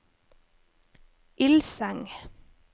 Ilseng